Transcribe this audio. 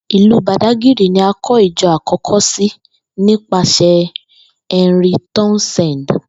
Ìlú Bàdágìrì ni a kó̩ ìjo̩ àkó̩ko̩ sí nípasè̩ Henry Townsend